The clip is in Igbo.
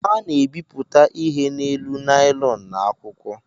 A na-ebipụta ihe n’elu naịlọn na akwụkwọ